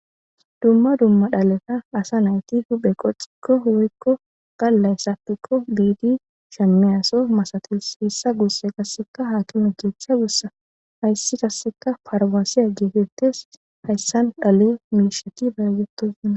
Dumma dumma dhaleta asa nawuti huphe qo xikko woykko gallay sakikko biidi shamiyaso masatis hessa guusse qasseka haaki mi cheecha gussa hayssi kasseka farbansiya geetettes hayssan dhale miisheti balagettosanna.